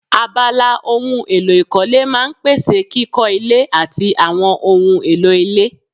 Abala ohun èlò ìkọ́lé máa n pèsè kíkọ́ ilé àti àwọn ohun èlò ilé